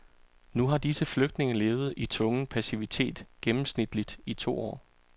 Nu har disse flygtninge levet i tvungen passivitet gennemsnitligt i to år.